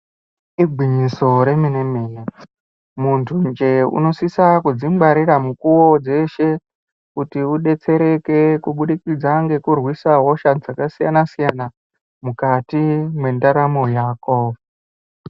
Igwinyiso remene-mene, muntunje unosisa kudzingwarira mukuwo dzeshe, kuti udetsereke, kubudikidza ngekurwisa hosha dzakasiyana-siyana ,mukati mwendaramo yako.